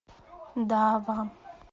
дава